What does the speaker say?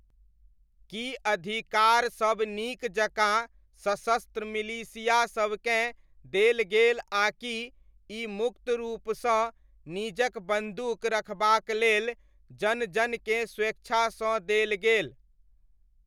की अधिकारसब नीक जकाँ सशस्त्र मिलिशियासबकेँ देल गेल आकि ई मुक्त रूपसँ निजक बन्दूक रखबाक लेल जन जनकेँ स्वेच्छासँ देल गेल ?